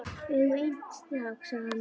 Við eigum einn strák, sagði hann.